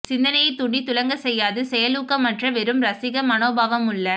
சிந்தனையைத் தூண்டித் துலங்கச் செய்யாது செயலூக்கமற்ற வெறும் ரசிக மனோபாவமுள்ள